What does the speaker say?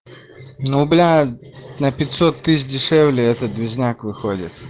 ну блядь на пятьсот тысяч дешевле этот движняк выходит